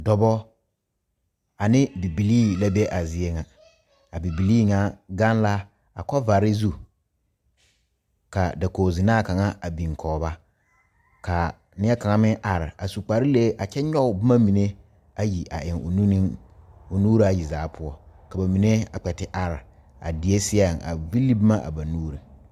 Dɔɔbo ane bibilee la be a zie ŋa a bibilee ŋa gaŋ la kobaare zu ka dakogi ziinaa kaŋa a biŋ kɔŋ ba ka nie kaŋa meŋ are a su kpare lee kyɛ nyoŋ boma mine ayi a eŋ o nune o nuura yi zaa poɔ ka ba mine a kpɛ te are a die saɛ a vile boma a ba nuure.